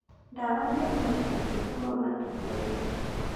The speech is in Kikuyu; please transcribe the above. Dawa nĩ thumu cingĩhũrwo matundainĩ